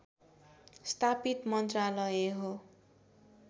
स्थापित मन्त्रालय हो